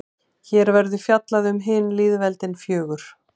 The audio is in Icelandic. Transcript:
hér verður fjallað um hin lýðveldin fjögur